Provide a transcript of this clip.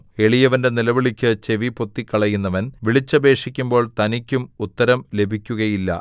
എളിയവന്റെ നിലവിളിക്ക് ചെവി പൊത്തിക്കളയുന്നവൻ വിളിച്ചപേക്ഷിക്കുമ്പോൾ തനിക്കും ഉത്തരം ലഭിക്കുകയില്ല